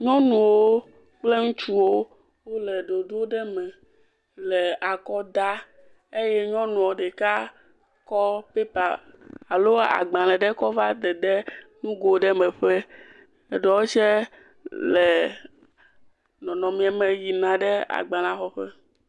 Nyɔnuwo kple ŋutsuwo wo le ɖoɖo ɖe me le akɔ dam eye nyɔnua ɖeka kɔ pɛpa alo agbale ɖe kɔ va dede nugo ɖe me tse. Eɖewo tse le nɔnɔme me yina ɖe agbalea xɔ ƒe.